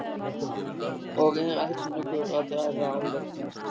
Og er eldsnöggur að draga ályktun.